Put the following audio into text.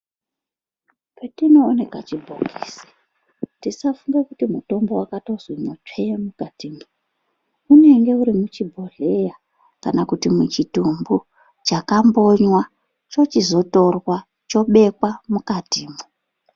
Petinoone kachibhokisi tisafunge kuti mutombo wakatonzimwo tsvee mukatimwo unenge urimuchibhohleya kana kuti muchitumbu chakambonywa chochizotorwa chobekwa mukatimwo.